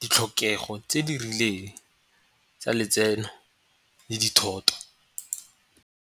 ditlhokego tse di rileng tsa letseno le dithoto.